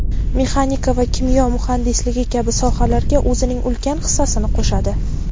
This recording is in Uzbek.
mexanika va kimyo muhandisligi kabi sohalarga o‘zining ulkan hissasini qo‘shadi.